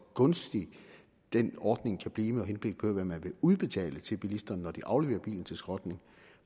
gunstig den ordning kan blive med henblik på hvad man vil udbetale til bilisterne når de afleverer bilen til skrotning